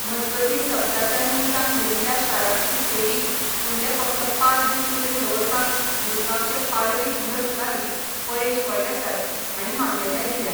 मजगतीं सप्ताच्या निमतान भरिल्ल्या शारांतली फेरी फुडले फकत पाच दीस मेरेन दवरपाक मुरगांवचे पालवी जिल्लोधिकारी परेश फळदेसाय हांणी मान्यताय दिल्या.